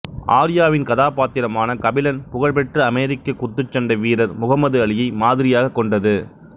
ஆர்யாவின் கதாபாத்திரமான கபிலன் புகழ்பெற்ற அமெரிக்க குத்துச்சண்டை வீரர் முகம்மது அலியை மாதிரியாக கொண்டது